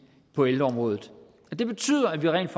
på elområdet det betyder at vi rent